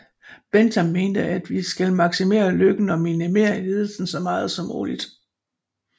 Bentham mente vi skal maximere lykken og minimere lidelsen så meget som muligt